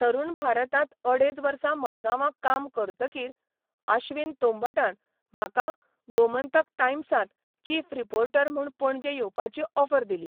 तरुण भारतां'त अडेच वर्सा मडगांवां काम करतकीर आश्विन तोंबटान म्हाका ' गोमंतक टायम्सां'त चीफ रिपोर्टर म्हूण पणजे येवपाची ऑफर दिली.